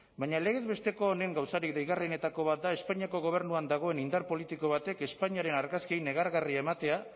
baina legez besteko honen gauzarik deigarrienetako bat da espainiako gobernuan dagoen indar politiko batek espainiaren argazki negargarria ematea